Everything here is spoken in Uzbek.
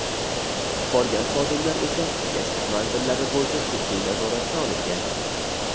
Qolgan xodimlar esa yashash manzillari bo‘yicha tibbiy nazoratga olingan.